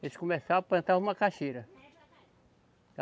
Eles começaram plantavam macaxeira.